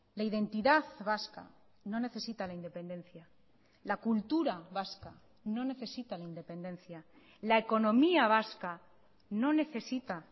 la identidad vasca no necesita la independencia la cultura vasca no necesita la independencia la economía vasca no necesita